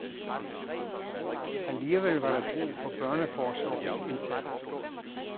Alligevel var der brug for børneforsorgens indsats.